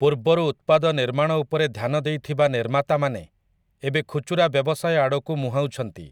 ପୂର୍ବରୁ ଉତ୍ପାଦ ନିର୍ମାଣ ଉପରେ ଧ୍ୟାନ ଦେଇଥିବା ନିର୍ମାତାମାନେ ଏବେ ଖୁଚୁରା ବ୍ୟବସାୟ ଆଡ଼କୁ ମୁହାଁଉଛନ୍ତି ।